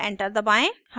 और enter दबाएं